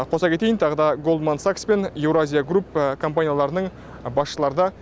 қоса кетейін тағы да голдман сакс пен еуразия груп компанияларының басшылары да